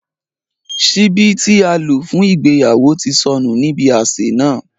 Ṣìbí ti à lo fun ìgbéyàwo ti sọnu ni ibi ạṣe náa.